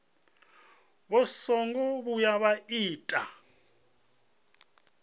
vha songo vhuya vha ita